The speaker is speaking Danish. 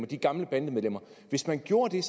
de gamle bandemedlemmer hvis man gjorde det